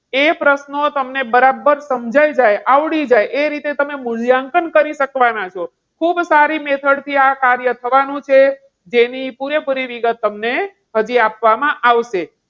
એ પ્રશ્નો તમને બરાબર સમજાય જાય, આવડી જાય એ રીતે તમે મૂલ્યાંકન કરી શકવાના છો. ખૂબ સારી method થી આ કાર્ય થવાનું છે. જેની પૂરેપૂરી વિગત તમને હજી આપવામાં આવશે.